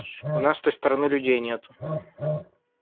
у нас с той стороны людей нету